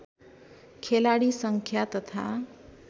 खेलाडी सङ्ख्या तथा